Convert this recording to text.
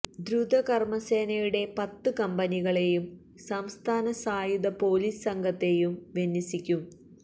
ദ്രുത കര്മ സേനയുടെ പത്ത് കമ്പനികളെയും സംസ്ഥാന സായുധ പോലീസ് സംഘത്തെയും വിന്യസിക്കും